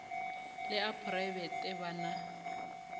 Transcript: le a phoraebete ba na